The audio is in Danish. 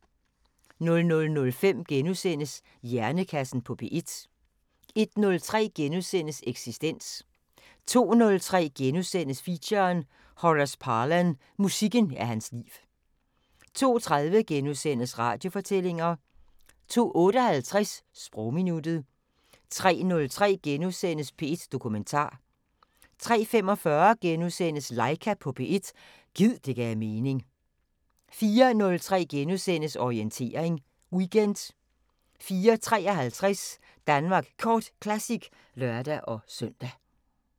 00:05: Hjernekassen på P1 * 01:03: Eksistens * 02:03: Feature: Horace Parlan – musikken er hans liv * 02:30: Radiofortællinger * 02:58: Sprogminuttet 03:03: P1 Dokumentar * 03:45: Laika på P1 – gid det gav mening * 04:03: Orientering Weekend * 04:53: Danmark Kort Classic (lør-søn)